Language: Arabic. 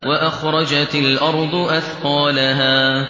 وَأَخْرَجَتِ الْأَرْضُ أَثْقَالَهَا